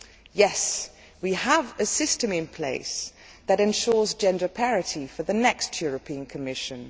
Yes, we have a system in place that ensures gender parity for the next European Commission.'